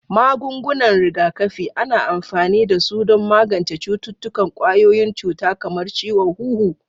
Magungunan rigakafi: Ana amfani da su don magance cututtukan ƙwayoyin cuta kamar ciwon huhu.